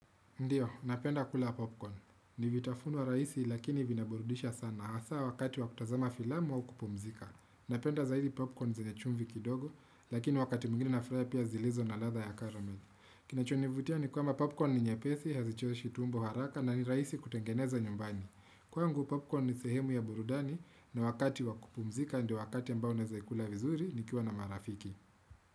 Ndiyo, napenda kula popcorn. Ni vitafunwa raisi lakini vina burudisha sana hasa wakati wa kutazama filamu au kupumzika. Napenda zaidi popcorn zenye chumvi kidogo lakini wakati mwingine na furahia pia zilizo na ladha ya karame. Kinachonivutia ni kwamba popcorn ni nyepesi, hazichoshi tumbo haraka na ni raisi kutengeneza nyumbani. Kwangu popcorn ni sehemu ya burudani na wakati wa kupumzika ndio wakati ambao naeza ikula vizuri nikiwa na marafiki.